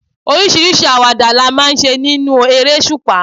Oríṣiríṣi àwàdà la máa ń ṣe nínú eresupa.